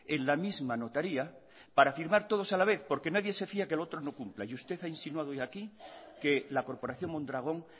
en la misma notaria para firmar todos a la vez porque nadie se fía que el otro no cumpla y usted ha insinuado hoy aquí que la corporación mondragón